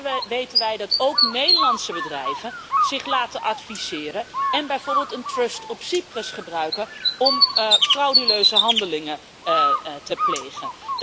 Maar ondertussen weten wij dat ook Nederlandse bedrijven zich laten adviseren en bijvoorbeeld een trust op Cyprus gebruiken om frauduleuze handelingen te plegen.